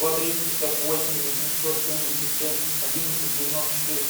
два триста пятьдесят восемь восемьсот семьдесят семь одиннадцать девяносто четыре